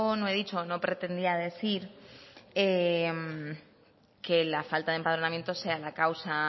no he dicho no pretendía decir que la falta de empadronamiento sea la causa